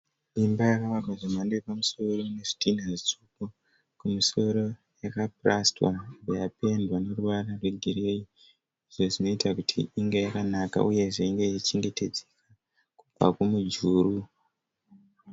Imba yakavakwa zvemhando yepamusiro nezvitinha zvitsvuku. Kumusoro yaka plastwa yobva yapendwa neruvara rwegirei izvo zvinoita kuti inge yakanaka uyezve inge ichichengetedzwa kubva kumujuru.